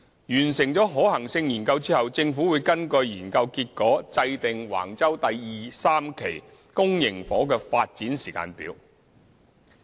完成可行性研究後，政府會根據研究結果制訂橫洲第2、3期公營房屋的發展時間表。